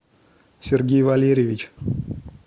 сергей валерьевич